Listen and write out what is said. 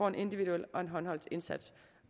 en individuel håndholdt indsats